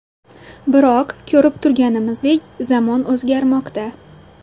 Biroq, ko‘rib turganimizdek, zamon o‘zgarmoqda.